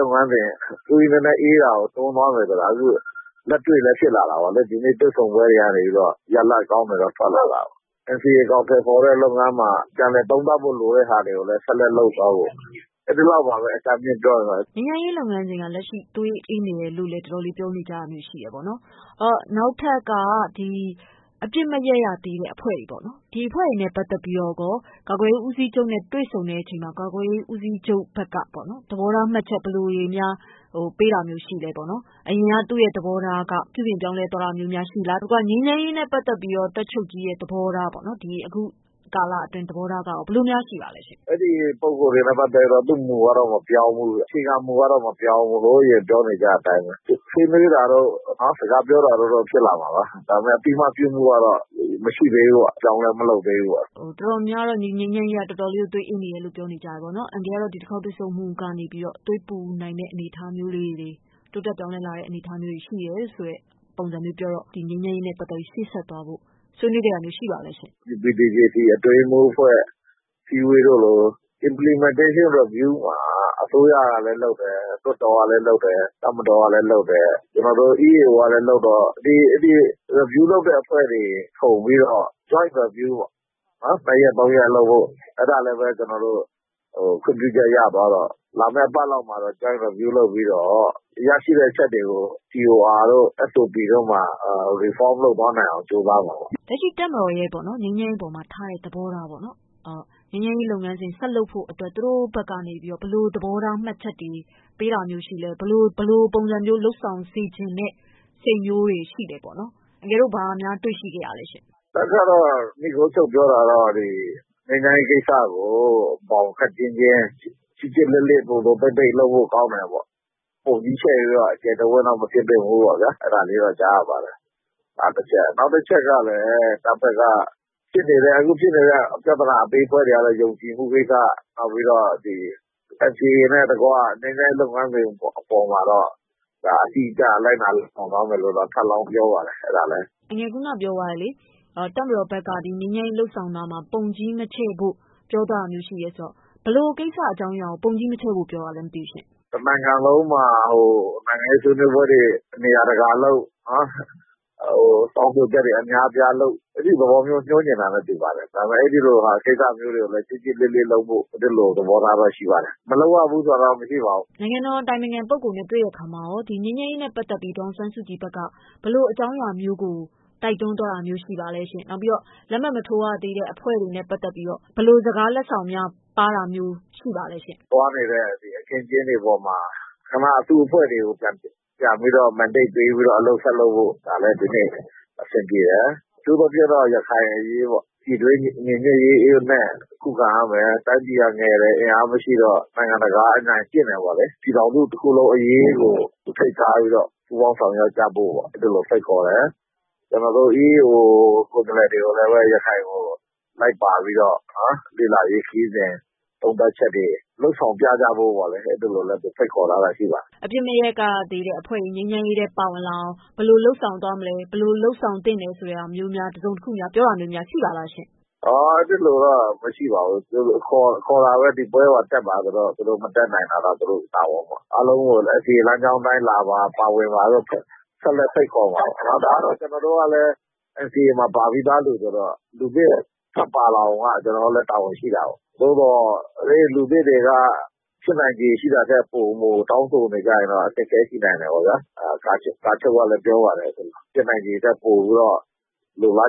ုပ်ငန်းစဉ် သွေးနည်းနည်းအေးလာတာကို သွားတွေ့တာပေါ့လေ။ လက်တွေ့လည်းဖြစ်လာတယ် ဒါပေမယ့် ဒီနေ့ တွေ့ဆုံပွဲတွေကနေတော့ ရလဒ်ကောင်းတွေထွက်လာတယ်။ NCA အကောင်အထည်ဖော်တဲ့ လုပ်ငန်းမှာ ပြန်လည်သုံးသပ်ဖို့ လိုတဲ့ဟာတွေကိုလည်း ဆက်လက်လုပ်သွားဖို့ အဲဒီလောက်ပါပဲ အကြမ်းပြောရရင်တော့။ ငြိမ်းချမ်းရေးလုပ်ငန်းစဉ်က လက်ရှိသွေးအေးနေတယ်လို့လည်း တော်တော်လေးပြောကြတယ်။ အဲဒီတော့ နောက်ထပ်က အပစ်မရပ်ရသေးတဲ့အဖွဲ့တွေပေါ့နော် ။ ဒီအဖွဲ့တွေနဲ့ ပတ်သက်ပြီးတော့ ကာကွယ်ရေးဦးစီးချုပ်နဲ့ တွေ့ဆုံတဲ့အချိန်မှာ ကာကွယ်ရေးဦးစီးချုပ်ဘက်ကပေါ့နော် သဘောထားမှတ်ချက်ဘယ်လိုတွေများပေးတာတွေရှိလဲ။ အရင်သူ့သဘောထားက ပြုပြင်ပြောင်းလဲသွားတာမျိုးများရှိလား။ ငြိမ်းချမ်းရေးနဲ့ ပတ်သက်ပြီးတော့ တပ်ချုပ်ကြီးရဲ့သဘောထားပေါ့နော် အခုကာလအတွင်းသဘောထားရော ဘယ်လိုများရှိပါသလဲ။ သူ့မူကတော့ မပြောင်းဘူး အခြေခံမူကတော့ မပြောင်းဘူး ဟိုအရင်ကပြောနေကြတဲ့အတိုင်းပဲ ဆွေးနွေးတာကတော့ စကားပြောတော့ဖြစ်လာမှာပါ။ ဒါပေမယ့် အသိအမှတ်ပြုမှုကတော့ မရှိသေးဘူးပေါ့ အပြောင်းအလဲမလုပ်သေးဘူးပေါ့။ တော်တော်များများကတော့ ငြိမ်းချမ်းရေးလုပ်ငန်းစဉ် သွေးအေးနေတယ်လို့လည်း တော်တော်လေးပြောကြတယ်ပေါ့နော်။ အန်ကယ်ကတော့ ဒီတခေါက်တွေ့ဆုံမှုကနေ သွေးပူနိုင်တဲ့အနေအထားမျိုးလေးတွေ တိုးတက်ပြောင်းလဲနိုင်တဲ့အနေအထားမျိုးလေးတွေ ရှိတယ်ဆိုတဲ့ ပုံစံမျိုးပြောတော့ ဒီငြိမ်းချမ်းရေးနဲ့ ပတ်သက်ပြီးရှေ့ဆက်သွားဖို့ ဆွေးနွေးခဲ့တာမျိုး ရှိပါသလဲရှင့်။ UPDJC အတွင်းရေးမှူးအဖွဲ့ အစည်းအဝေးတုန်းက Implementation Review မှာ အစိုးရကလည်းလုပ်တယ်၊ လွှတ်တော်ကလည်းလုပ်တယ်၊ တပ်မတော်ကလည်းလုပ်တယ်၊ ကျနော်တို့ EAO ကလည်းလုပ်တယ် ဒီ Review လုပ်တဲ့အဖွဲ့တွေစုံပြီးတော့ Joint-Review ပေါ့ ၂ ရက်၃ရက်လုပ်ဖို့ အဲဒါကလည်း ခွင့်ပြုချက်ရသွားတော့ လာမယ့်အပတ်လောက်မှာတော့ Joint-Review လုပ်ပြီးတော့ ရရှိတဲ့အချက်တွေကို reform လုပ်သွားနိုင်အောင် ကြိုးစားမှာပေါ့။ လက်ရှိတပ်မတော်ရဲ့ ငြိမ်းချမ်းရေးအပေါ်မှာထားတဲ့သဘောထားပေါ့နော် ငြိမ်းချမ်းရေးလုပ်ငန်းစဉ်ဆက်လုပ်ဖို့ သူတို့ဘက်ကနေပြီးတော့ ဘယ်လိုသဘောထား မှတ်ချက်တွေပေးတာမျိုးရှိသလဲ။ ဘယ်လိုပုံစံမျိုးလုပ်ဆောင်စေချင်တဲ့ စိတ်မျိုးတွေရှိသလဲပေါ့နော် အန်ကယ်တို့ဘာများတွေ့ရှိခဲ့သလဲ။ တပ်ကတော့ နိဂုန်းချုပ်ပြောတာကတော့ ငြိမ်းချမ်းရေးကိစ္စကို ဘောင် ခပ်ကျဉ်းကျဉ်း ကျစ်ကျစ်လစ်လစ် လုပ်ဖို့ကောင်းတယ်ပေါ့ ၊ ပုံကြီးချဲ့ပြီးတော့ အကျယ်တဝင့်တော့ မဖြစ်သင့်ဘူးပေါ့ အဲဒါလေးတော့ ကြားရပါတယ်။ နောက်တချက်ကတော့ အခုဖြစ်နေတဲ့ ပြဿနာအသေးအဖွဲတွေကတော့ ယုံကြည်မှုကိစ္စ နောက်ပြီးတော့ NCA နှင့်တကွ ငြိမ်းချမ်းရေးလုပ်ငန်းစဉ်အပေါ်မှာတော့ အတိအကျလိုက်နာဆောင်ရွက်သွားမယ်လို့တော့ ထပ်လောင်းပြောပါတယ်။ ခုနပြောသွားတဲ့ တပ်မတော်ဘက်က ငြိမ်းချမ်းရေးလုပ်ဆောင်တာမှာ ပုံကြီးမချဲ့ဖို့ပြောသွားတာမျိုးှရှိတယ်ဆိုတော့ ဘယ်လိုကိစ္စအကြောင်းအရာကို ပုံကြီးမချဲ့ဖို့ပြောတာလဲရှင့်။ တနိုင်ငံလုံးမှာ နိုင်ငံရေးဆွေးနွေးပွဲတွေ နေရာတကာလုပ် တောင်းဆိုချက်တွေ အများအပြားလုပ် အဲဒီဟာကို ပြောချင်တာနဲ့ တူပါတယ်။ ဒါပေမယ့် အဲလိုကိစ္စတွေကိုလည်း ကျစ်ကျစ်လစ်လစ်လုပ်ဖို့သဘောထားကတော့ ရှိပါတယ်။ မလုပ်ရဘူးဆိုတာကတော့ မရှိပါဘူး။ နိုင်ငံတော်အတိုင်ပင်ခံပုဂ္ဂိုလ်နဲ့ တွေ့တဲ့အခါမှာရော ငြိမ်းချမ်းရေးနဲ့ပတ်သက်ပြီး ဘယ်လိုအကြောင်းအရာမျိုးကို တိုက်တွန်းသွားတာရှိပါသလဲ။ နောက်ပြီးတော့လက်မှတ်မထိုးရသေးတဲ့ အဖွဲ့တွေနဲ့ ပတ်သက်ပြီးတော့ ဘယ်လိုစကားလက်ဆောင်များပါးတာမျိုး ရှိပါသလဲရှင့်။ ကျနော်တို့သွားနေတဲ့ အခင်းအကျင်းတွေအပေါ်မှာ အစုအဖွဲ့တွေကို ပြန်ပြီးတော့ Mandate ပေးပြီးတော့ အလုပ်ဆက်လုပ်ဖို့ ဒါလည်းဒီနေ့အဆင်ပြေတယ်။ အထူးသဖြင့်တော့ ရခိုင်အရေးပေါ့ ပြည်တွင်းညီညွတ်ရေးနဲ့ ခုခံရမယ်။ တိုင်းပြည်ကငယ်တယ် အင်အားမရှိဘူး ဆိုတော့ နိုင်ငံတကာက အနိုင်ကျင့်တယ်ပေါ့လေ။ ပြည်ထောင်စုတခုလုံးအရေးကို ဦးထိပ်ထားပြီးတော့ ပူးပေါင်းဆောင်ရွက်ကြဖို့ ဖိတ်ခေါ်တယ်။ ကျနော်တို့ EAO ကိုယ်စားလှယ် တွေကိုလည်း ရခိုင်ကိုလိုက်ပါပြီးတော့ လေ့လာရေးခရီးစဉ် သုံးသပ်ချက်တွေ လုပ်ဆောင်ပြသဖို့ ဖိတ်ခေါ်တာလည်းရှိပါတယ်။ အပစ်မရပ်ရသေးတဲ့အဖွဲ့တွေ ငြိမ်းချမ်းရေးထဲပါဝင်လာအောင် ဘယ်လိုလုပ်ဆောင်သွားမယ်၊ ဘယ်လိုလုပ်ဆောင်သင့်တယ်ဆိုတာမျိုးများ တစုံတရာ ပြောတာမျိုးများရှိပါသလားရှင့်။ အဲလိုတော့ မရှိပါဘူး ခေါ်တာပဲ ဒီပွဲမှာ တက်ပါဆိုပြီးတော့ ။ သူတို့မတက်နိုင်တာကတော့ သူတို့တာဝန်ပေါ့နော် အားလုံးကိုလည်း NCA လမ်းကြောင်းအတိုင်းလာပါ။ ပါဝင်ပါလို့လဲ ဆက်လက်ဖိတ်ခေါ်ပါတယ်။ ဒါကတော့ ကျနော်တို့ကလည်း NCA ပါပြီးသားလူဆိုတော့ လူသစ် ထပ်ပြီးပါလာအောင်ကတော့ ကျနော်တို့လည်း တာဝန်ရှိတာကို ။ သို့သော်လူသစ်တွေက ဖြစ်နိုင်ခြေရှိတာထက်ပိုမိုတောင်းဆိုရင်တော့ အခက်အခဲရှိနိုင်တာပေါ့ ။ ကာချုပ်ကလည်းပြောပါတယ် ဖြစ်နိုင်ခြေရှိတာထက်ပိုပြီးတော့ လိုလာ